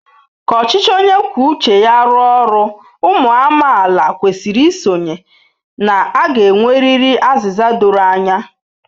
Ka ọchịchị onye kwuo uche ya rụọ ọrụ, ụmụ amaala kwesịrị isonye na a ga-enwerịrị azịza doro anya.